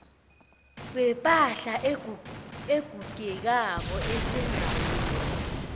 wepahla egugekako esendaweni